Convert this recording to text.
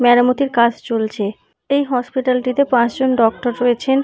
মেরামতির কাজ চলছে। এই হসপিটাল -টিতে পাঁচজন ডক্টর রয়েছেন।